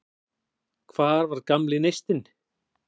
Hvar var gamli neistinn?